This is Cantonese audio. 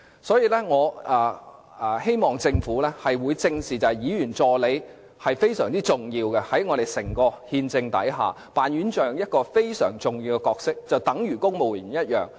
所以，我希望政府能夠正視議員助理的重要性，他們在整個憲制架構下擔當非常重要的角色，與公務員一樣。